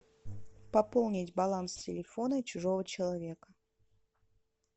пополнить баланс телефона чужого человека